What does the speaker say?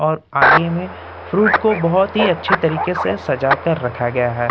और आगे में फ्रूट को बहुत ही अच्छे तरीके से सजा कर रखा गया है।